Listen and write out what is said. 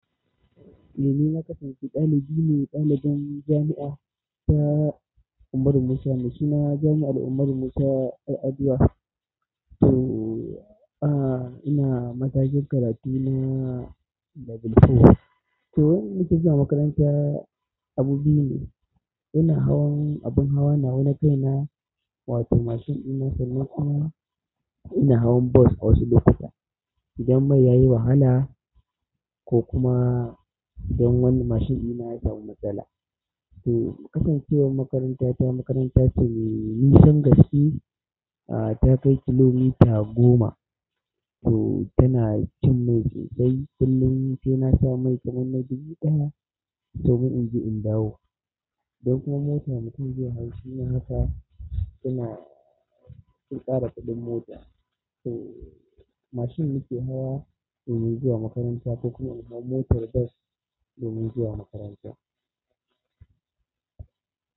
Ni na kasance ɗalibi ne, dalibin jami'a ta Umaru Musa Maisuna, jami'ar Umaru Musa, yar aduwa. To, ina matakin karatu na level four. To, wani nake zuwa makaranta, abu biyu ne. Ina hawan abin hawa nawa na kaina, wato mashin in mota ne kuma ina hawan bus a wasu lokutan. Idan mai yayi wahala ko kuma idan wani mashin ɗina ya samu matsala. To, kasancewar makaranta ta makaranta ce mai nisan gaske, a, ta kai kilomita goma. To, tana cin mai sosai. Kullun sai na sha mai kaman na dubu ɗaya domin in je in dawo. Idan kuma mota mutum zai hau shi ma haka tana sun ƙara kuɗin mota. To, mashin nake hawa domin zuwa makaranta ko kuma in hau motar bas domin zuwa makaranta.